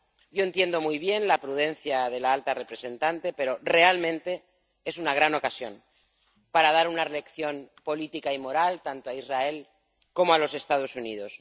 Yo entiendo muy bien la prudencia de la alta representante, pero, realmente, es una gran ocasión para dar una lección política y moral tanto a Israel como a los Estados Unidos.